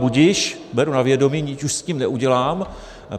Budiž, beru na vědomí, nic už s tím neudělám.